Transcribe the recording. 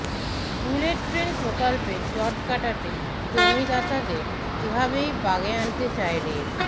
bullet train প্রকল্পে জট কাটাতে জমিদাতাদের এভাবেই বাগে আনতে চায় রেল